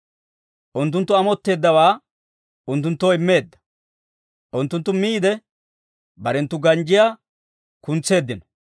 Unttunttu amotteeddawaa unttunttoo immeedda; unttunttu miide, barenttu ganjjiyaa kuntseeddino.